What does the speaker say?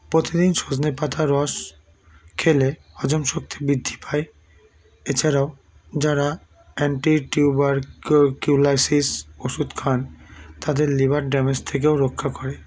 প্রতিদিন সজনে পাতার রস খেলে হজম শক্তি বৃদ্ধি পায় এছাড়াও যারা anti tubercu culosis ওষুধ খান তাদের liver damage থেকেও রক্ষা করে